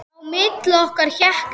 Á milli okkar hékk net.